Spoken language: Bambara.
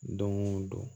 Don o don